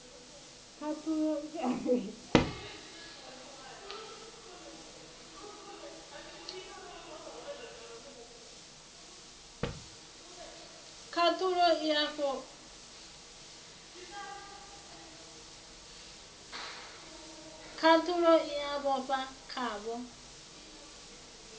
khathulo i a vhofha khavho